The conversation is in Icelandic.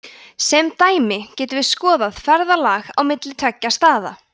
sem dæmi getum við skoðað ferðalag á milli tveggja staða